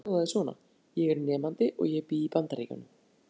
Spurningin í heild sinni hljóðaði svona: Ég er nemandi og ég bý í Bandaríkjum.